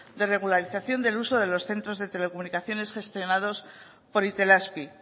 de regularización del uso de los centros de telecomunicaciones gestionados por itelazpi